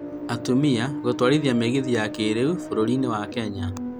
Atumia gũtwarithia mĩgithi ya kĩrĩu bũrũrinĩ wa Kenya.